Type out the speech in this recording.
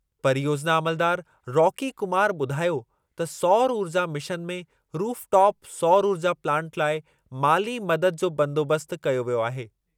परियोजिना अमलदारु रॉकी कुमार ॿुधायो त सौर ऊर्जा मिशन में रूफटॉप सौर ऊर्जा प्लांट लाइ माली मददु जो बंदोबस्तु कयो वियो आहे।